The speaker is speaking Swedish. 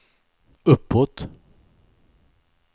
uppåt